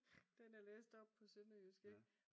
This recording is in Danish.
Den er læst op på sønderjysk ik